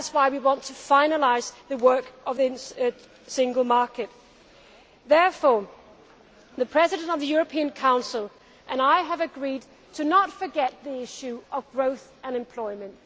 That is why we want to finalise the work of the Single Market. Therefore the President of the European Council and I have agreed not to forget the issue of growth and employment.